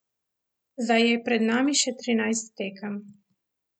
Zdaj je pred nami še trinajst tekem.